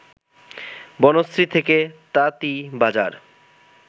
বনশ্রী থেকে তাতীবাজার